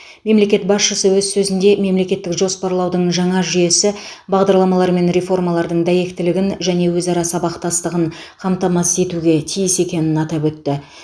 мемлекет басшысы өз сөзінде мемлекеттік жоспарлаудың жаңа жүйесі бағдарламалар мен реформалардың дәйектілігін және өзара сабақтастығын қамтамасыз етуге тиіс екенін атап өтті